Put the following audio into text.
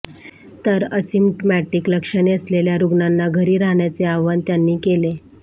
तर असिमटमॅटिक लक्षणे असलेल्या रुग्णांना घरी राहण्याचे आवाहन त्यांनी केले